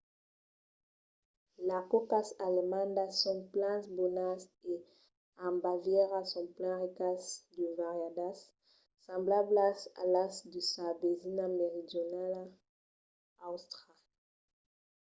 las còcas alemandas son plan bonas e en bavièra son plan ricas e variadas semblablas a las de sa vesina meridionala àustria